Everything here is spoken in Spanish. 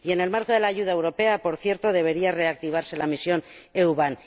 Y en el marco de la ayuda europea, por cierto, debería reactivarse la Misión EU BAM.